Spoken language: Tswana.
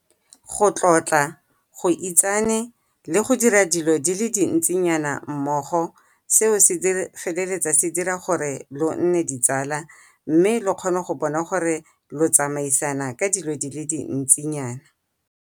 Go tlotla, go itsane, le go dira dilo tse dintsinyana mmogo seo se feleletsa se dira gore lo nne ditsala. Mme lo kgone go bona gore lo tsamaisana ka dilo di le dintsinyana.